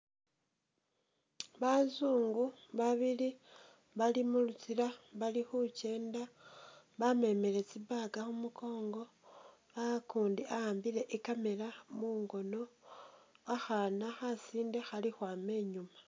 Bazungu ba bili bali mulutsila bali khukyenda bamemele tsi bag khumukongo ukundi wa'ambile i camera mungono, akhana khasinde khali ukhwama inyuma.